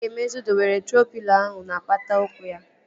Chigaemezu dowere troo pịlo ahụ n'apata ụkwụ ya